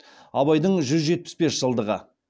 абайдың жүз жетпіс бес жылдығы